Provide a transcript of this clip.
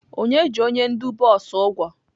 Onye ji onye ndu bọs ụgwọ?